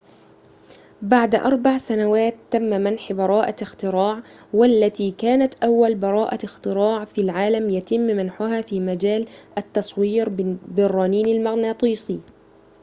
بعد أريع سنوات تم منح براءة اختراع والتي كانت أول براءة اختراع في العالم يتم منحها في مجال التصوير بالرنين المغناطيسي